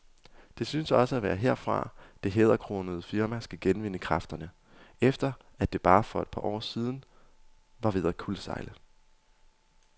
Det synes også at være herfra, det hæderkronede firma skal genvinde kræfterne, efter at det for bare et par år siden var ved at kuldsejle.